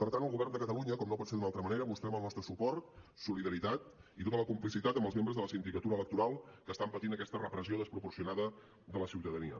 per tant el govern de catalunya com no pot ser d’altra manera mostrem el nostre suport solidaritat i tota la complicitat amb els membres de la sindicatura electoral que estan patint aquesta repressió desproporcionada de la ciutadania